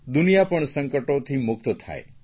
દુનિયા પણ સંકટોથી મુક્ત થાય